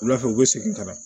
Wula fɛ u bɛ segin ka na